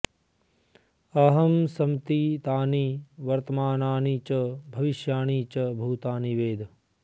अहं समतीतानि वर्तमानानि च भविष्याणि च भूतानि वेद